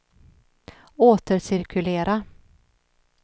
återcirkulera